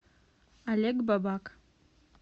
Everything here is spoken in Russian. олег бабак